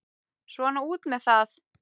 Svona út með það.